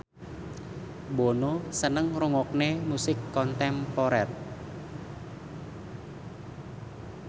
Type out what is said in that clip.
Bono seneng ngrungokne musik kontemporer